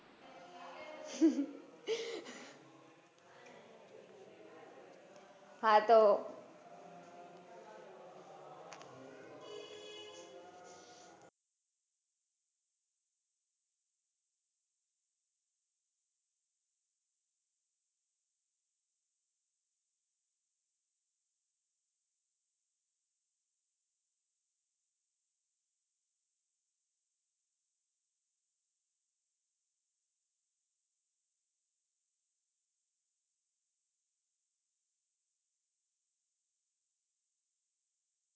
હા તો,